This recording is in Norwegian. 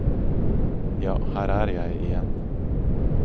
Ja, her er jeg igjen.